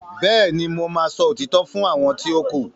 béèni mọ má sọ òtítọ́ fún àwọn ti o ku.